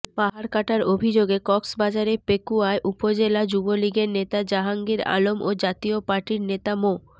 পাহাড় কাটার অভিযোগে কক্সবাজারের পেকুয়ায় উপজেলা যুবলীগের নেতা জাহাঙ্গীর আলম ও জাতীয় পার্টির নেতা মো